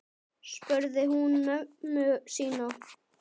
spurði hún mömmu sína.